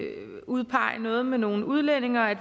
udpege noget med nogle udlændinge og